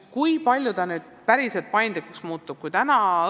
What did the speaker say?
Kui palju süsteem nüüd paindlikumaks muutub?